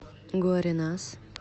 гуаренас